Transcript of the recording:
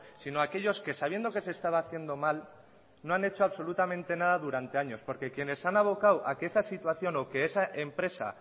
sino aquellos que sabiendo que se estaba haciendo mal no han hecho absolutamente nada durante años porque quienes han avocado a que esa situación o que esa empresa